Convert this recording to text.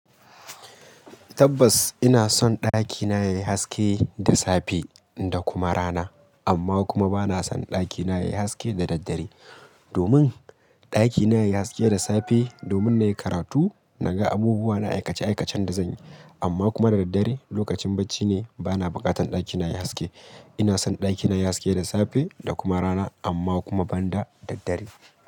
Tabbas ina son ɗakina yayi haske da safe da kuma rana, amma kuma bana son ɗakina yayi haske da daddare. Domin ɗakina yayi haske da safe, domin na yi karatu naga abubuwa na aikace-aikacen da zanyi. Amma kuma da daddare lokacin bacci ne bana buƙatan ɗakina yayi haske. Ina son ɗakina yayi haske da safe da kuma rana amma kuma banda daddare.